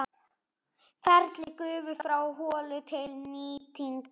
Ferill gufu frá holu til nýtingar